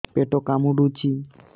ପେଟ କାମୁଡୁଛି